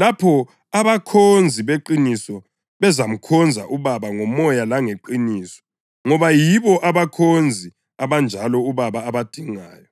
lapho abakhonzi beqiniso bezamkhonza uBaba ngomoya langeqiniso, ngoba yibo abakhonzi abanjalo uBaba abadingayo.